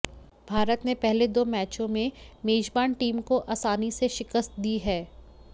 भारत ने पहले दो मैचों में मेजबान टीम को आसानी से शिकस्त दी है